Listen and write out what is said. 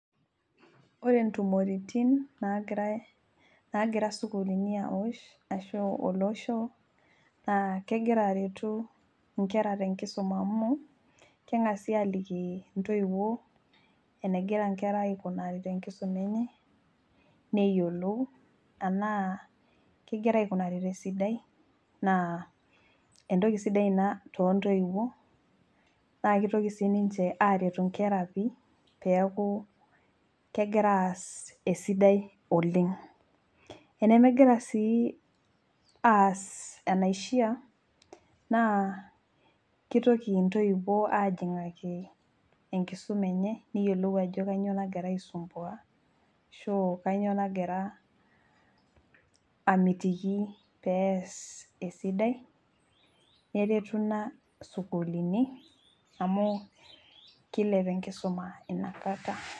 Ore intumoritin nagirae nagira isukulini awosh ashu olosho naa kegira aretu inkera tenkisuma amu keng'asi aliki intoiwuo enegira inkera aikunari tenkisuma enye neyiolou enaa kegira aikunari tesidai naa entoki sidai ina tontoiwuo naa kitoki sininche aretu inkera pii peaku kegira aas esidai oleng enemegira sii aas enaishia naa kitoki intoiwuo ajing'aki enkisuma neyiolou ajo kanyio nagira aisumbua ashu kanyio nagira amitiki pees esidai neretu ina sukulini amu kilep enkisuma inakata.